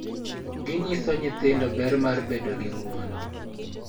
Ginyiso nyithindo ber mar bedo gi ng�uono, .